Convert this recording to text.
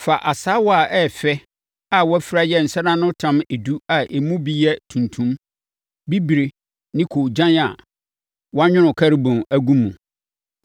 “Fa asaawa a ɛyɛ fɛ a wɔafira yɛ nsɛnanotam edu a emu bi yɛ tuntum, bibire ne koogyan a wɔanwono Kerubim agu mu, na fa si Ahyiaeɛ Ntomadan no.